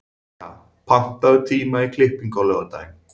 Begga, pantaðu tíma í klippingu á laugardaginn.